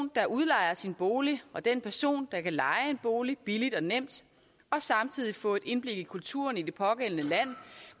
der udlejer sin bolig og den person der kan leje en bolig billigt og nemt og samtidig få et indblik i kulturen i det pågældende land